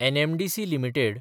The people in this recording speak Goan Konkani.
NMDC limited